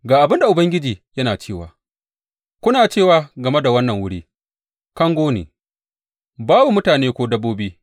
Ga abin da Ubangiji yana cewa, Kuna cewa game da wannan wuri, Kango ne, babu mutane ko dabbobi.